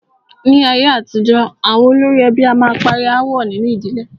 Ní ayé àtijọ́, àwọn olórí ẹbí a máa parí aáwọ̀ nínu ìdílé.